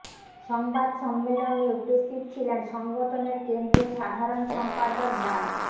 সংবাদ সম্মেলনে উপস্থিত ছিলেন সংগঠনের কেন্দ্রীয় সাধারণ সম্পাদক ডা